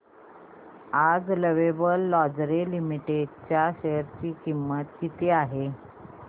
आज lovable lingerie limited च्या share ची किंमत किती आहे